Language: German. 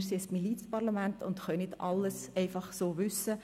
Wir sind ein Milizparlament und können nicht alles einfach so wissen.